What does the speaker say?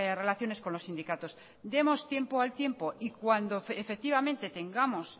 relaciones con los sindicatos demos tiempo al tiempo y cuando efectivamente tengamos